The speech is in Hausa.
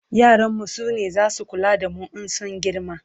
yaran mu sune zasu kula da mu in sun girma